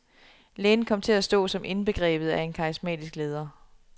Lægen kom til at stå som indbegrebet af en karismatisk leder.